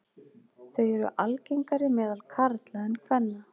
Þau eru algengari meðal karla en kvenna.